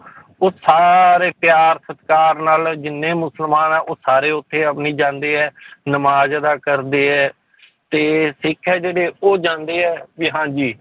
ਉਹ ਸਾਰੇ ਪਿਆਰ ਸਤਿਕਾਰ ਨਾਲ ਜਿੰਨੇ ਮੁਸਲਮਾਨ ਹੈ ਉਹ ਸਾਰੇ ਉੱਥੇ ਉਵੇਂ ਜਾਂਦੇ ਹੈ ਨਮਾਜ਼ ਅਦਾ ਕਰਦੇ ਹੈ ਤੇ ਸਿੱਖ ਹੈ ਜਿਹੜੇ ਉਹ ਜਾਂਦੇ ਹੈ ਵੀ ਹਾਂਜੀ